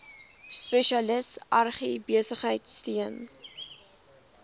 spesialis agribesigheid steun